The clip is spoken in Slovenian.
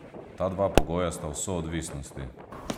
Ta dva pogoja sta v soodvisnosti.